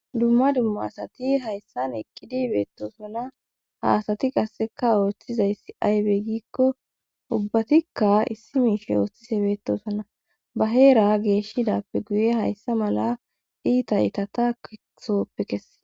Dumma dumma asati hayssan eqqidi beettosana haasati qasseka ooshthizayssi aybe giikko ubbatikka issi miishey oosthise beetosana ba heera geeshshidappe guye hayssa mala iita itata kehoppe kesse.